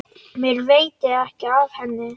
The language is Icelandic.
Mér veitir ekki af henni.